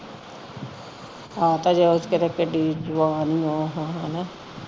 ਆਪ ਹਜੇ ਉਹ ਕਿਥੇ ਕਿਡੀ ਜਵਾਨ ਹੀ ਉਹ ਹੈਨਾ